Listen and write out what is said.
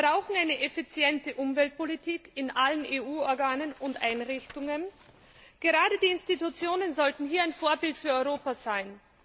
Wir brauchen eine effiziente Umweltpolitik in allen EU Organen und Einrichtungen. Gerade die Institutionen sollten hier ein Vorbild für Europa sein.